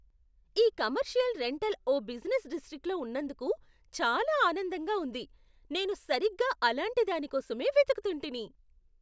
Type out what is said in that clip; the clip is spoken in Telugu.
ఈ కమర్షియల్ రెంటల్ ఓ బిజినెస్ డిస్ట్రిక్ట్లో ఉన్నందుకు చాలా ఆనందంగా ఉంది. నేను సరిగ్గా అలాంటి దాని కోసమే వెతుకుతుంటిని.